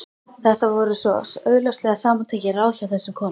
Þetta voru svo augljóslega samantekin ráð hjá þessum konum.